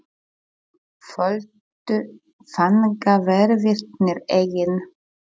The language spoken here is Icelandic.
Földu fangaverðirnir eggin?